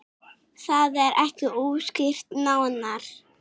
Það er ekki útskýrt nánar.